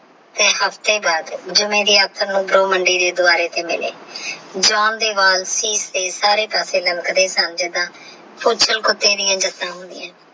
ਫੇਰ ਹਫਤੇ ਬਾਅਦ ਜਿਵੇ ਮੰਡੀ ਦੇ ਦੁਵਾਰੇ ਤੇ ਮਿਲੇ John ਦੇ ਵਾਲ ਸੀਸ ਤੇ ਸਾਰੇ ਪਾਸੇ ਰੱਗੜ ਦੇ ਸਨ ਜਿੰਦਾਂ ਕੁੱਤੇ ਦੀਆ